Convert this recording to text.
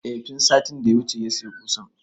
I tun satin da ya wuce ya saya ƙusan